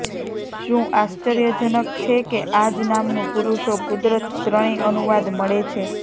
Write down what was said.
શું આશ્ચર્યજનક છે કે આ જ નામનું પુરુષો કુદરત ત્રણેય અનુવાદ મળે છે